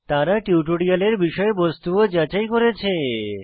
তারা টিউটোরিয়ালের বিষয়বস্তু ও যাচাই করেছে